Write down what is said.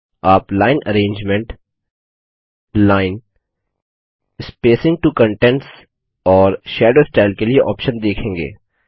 आप line arrangement line spacing to contents और shadow style के लिए ऑप्शन देखेंगे